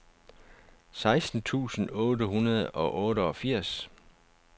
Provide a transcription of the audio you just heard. seksten tusind otte hundrede og otteogfirs